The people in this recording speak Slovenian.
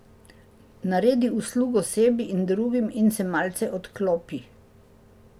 Naredi uslugo sebi in drugim in se malce odklopi.